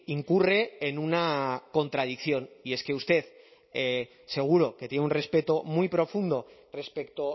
incurre en una contradicción y es que usted seguro que tiene un respeto muy profundo respecto